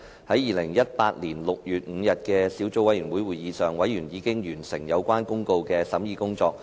在2018年6月5日的小組委員會會議上，委員已完成相關法律公告的審議工作。